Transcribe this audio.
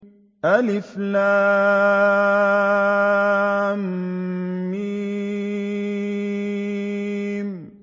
الم